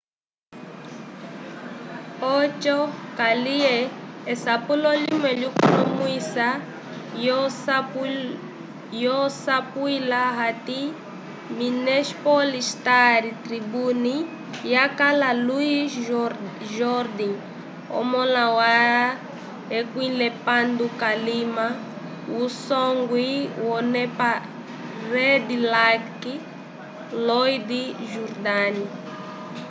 oco kaliye esapulo limwe lyakonomwisiwa lyasapwila hati minneapolis star-tribune yakala louis jourdain omõla wa 16 k'alima wusongwi wonepa red lake floyd jourdain